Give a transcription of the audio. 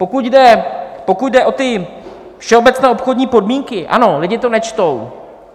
Pokud jde o ty všeobecné obchodní podmínky: ano, lidi to nečtou.